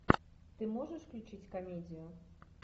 ты можешь включить комедию